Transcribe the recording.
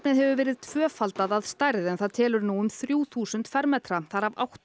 hefur verið tvöfaldað að stærð en það telur nú um þrjú þúsund fermetra þar af átta